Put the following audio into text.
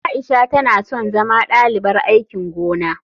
Aisha tana son zama dalibar aikin gona.